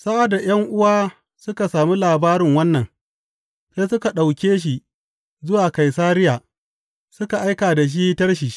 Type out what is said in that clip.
Sa’ad da ’yan’uwa suka sami labarin wannan, sai suka ɗauke shi zuwa Kaisariya suka aika da shi Tarshish.